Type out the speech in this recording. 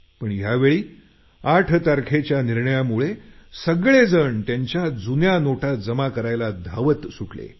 पण यावेळी 8 तारखेच्या निर्णयामुळे सगळेजण त्यांच्या जुन्या नोटा जमा करायला धावत सुटले